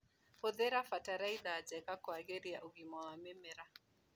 Hũthĩra bataraitha njega kwagĩria ũgima wa mĩmera.